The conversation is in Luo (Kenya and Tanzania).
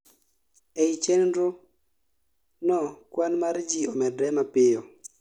ei chenro no kwan mar ji omedre mapiyo